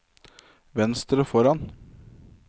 venstre foran